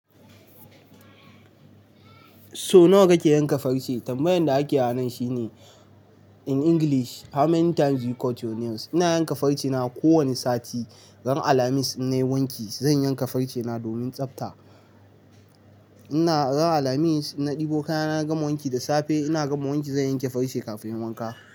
So nawa kake yanka farce? Tambayan da ake nan shine in English how many times you cut your nails? Ina yanka farce na kowanni sati. Ran Alhamis, in nai wanki, zan yanka farce na domin tsabta. Ina ran Alhamis in na ɗibo kaya na, na gama wanki da safe. Ina gama wanki, zan yanke farce kafun wanka.